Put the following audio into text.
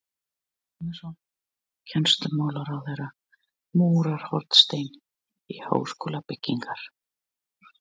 Haraldur Guðmundsson, kennslumálaráðherra, múrar hornstein háskólabyggingar